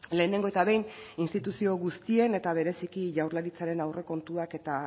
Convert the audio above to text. lehenengo eta behin instituzio guztien eta bereziki jaurlaritzaren aurrekontuak eta